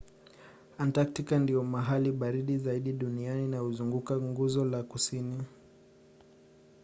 antaktika ndio mahali baridi zaidi duniani na huzunguka nguzo la kusini